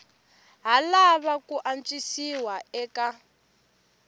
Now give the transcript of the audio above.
ha lava ku antswisiwa eka